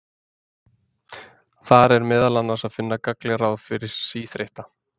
Þar er meðal annars að finna gagnleg ráð fyrir síþreytta.